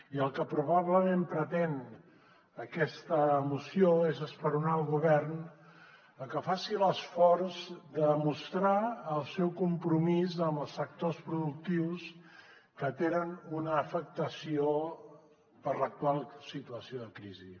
i el que probablement pretén aquesta moció és esperonar el govern a que faci l’esforç de mostrar el seu compromís amb els sectors productius que tenen una afectació per l’actual situació de crisi